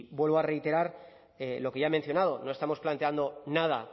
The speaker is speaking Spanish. vuelvo a reiterar lo que ya he mencionado no estamos planteando nada